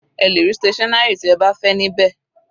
Ẹ lè rí stationary tí ẹ bá fẹ́ ní bẹ́ẹ̀.